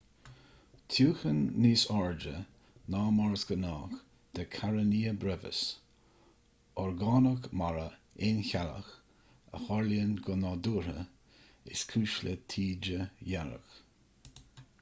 tiúchan níos airde ná mar is gnách de karenia brevis orgánach mara aoncheallach a tharlaíonn go nádúrtha is cúis le taoide dhearg